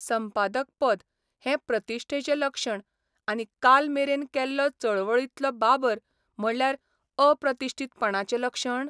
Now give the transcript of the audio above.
संपादक पद हें प्रतिश्ठेचें लक्षण आनी काल मेरेन केल्लो चळवळींतलो बाबर म्हणल्यार अप्रतिश्ठीतपणाचें लक्षण?